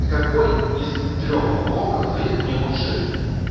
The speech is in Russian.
какой из трёх блоков их мне лучше